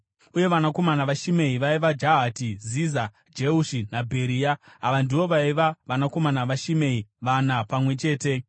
Uye vanakomana vaShimei vaiva: Jahati, Ziza, Jeushi naBheria. Ava ndivo vaiva vanakomana vaShimei, vana pamwe chete.